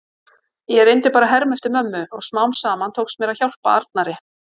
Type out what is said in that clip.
Ég reyndi bara að herma eftir mömmu og smám saman tókst mér að hjálpa Arnari.